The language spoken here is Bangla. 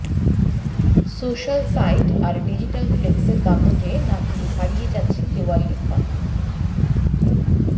সোশাল সাইট আর ডিজিটাল ফ্লেক্সের দাপটে নাকি হারিয়ে যাচ্ছে দেওয়াল লিখন